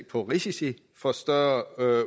på risici for større